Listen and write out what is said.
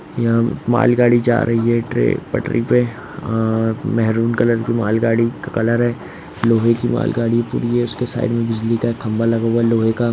यहां मालगाड़ी जा रही है ट्रेन पटरी पे। अअ मेहरून कलर की मालगाड़ी का कलर है लोहे की मालगाड़ी पूरी है। ये उसके साइड में बिजली का एक खंभा लगा हुआ है लोहे का--